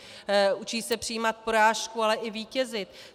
Učí se přijímat porážku, ale i vítězit.